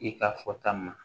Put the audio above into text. I ka fɔta ma